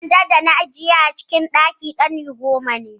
Sandan dana ajiye a cikin ɗakin ɗani goma ne.